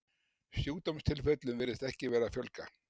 Sjúkdómstilfellum virðist ekki vera að fjölga.